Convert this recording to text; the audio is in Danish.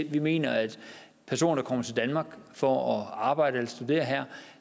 vi mener at personer der kommer til danmark for at arbejde og studere her